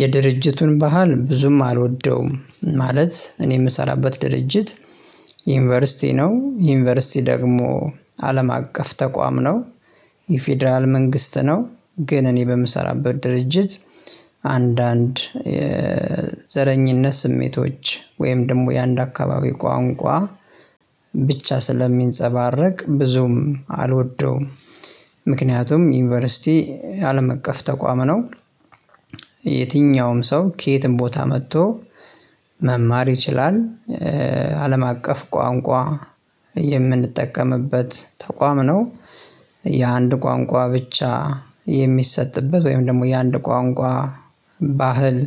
የድርጅቱን ባህል ብዙም አልወደውም። ማለት እኔ የምሰራበት ድርጅት ዩኒቨርሲቲ ነው ዩኒቨርሲቲ ደግሞ አለም አቀፍ ተቋም ነው። የፌደራል መንግስት ነው ግን እኔ በምሰራበት ድርጅት። አንዳንድ የዘረኝነት ስሜቶች ወይም ደግሞ የአንድ አካባቢ ቋንቋ ብቻ ስለሚንፀባረቅ ብዙም አልወደውም። ምክንያቱም ዩኒቨርሲቲ አለም እቀፍ ተቋም ነው። የትኛውም ሰው ከየትም ቦታ መጥቶ መማር ይችላል። አለም አቀፍ ቋንቋ የምንጠቀምበት ተቋም ነው። የአንድ ቋንቋ ብቻ የሚሰጥበት ወይም ደግሞ የአንድ ቋንቋ ባህል